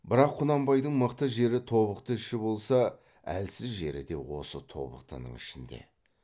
бірақ құнанбайдың мықты жері тобықты іші болса әлсіз жері де осы тобықтының ішінде